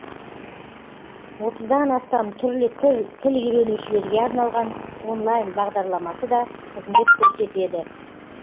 отыздан астам түрлі тіл үйренушілерге арналған онлайн бағдарламасы да қызмет көрсетеді